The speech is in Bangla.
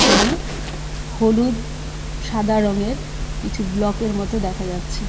এখানে হলুদ সাদা রঙের কিছু ব্লকের মত দেখা যাচ্ছে.